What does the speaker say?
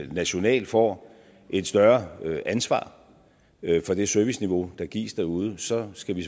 nationalt får et større ansvar for det serviceniveau der gives derude så skal vi